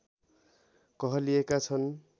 कहलिएका छन्